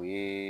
U ye